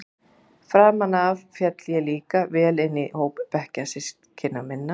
Framan af féll ég líka vel inn í hóp bekkjarsystkina minna.